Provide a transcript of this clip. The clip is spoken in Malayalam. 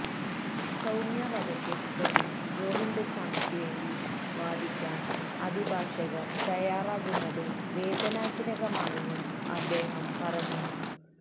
സൌമ്യ വധക്കേസ് പ്രതി ഗോവിന്ദച്ചാമിക്ക് വേണ്ടി വാദിക്കാന് അഭിഭാഷകര് തയാറാകുന്നത് വേദനാജനകമാണെന്നും അദ്ദേഹം പറഞ്ഞു